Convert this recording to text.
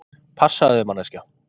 Passaðu þig manneskja!!